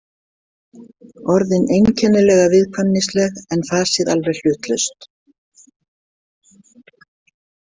Orðin einkennilega viðkvæmnisleg en fasið alveg hlutlaust.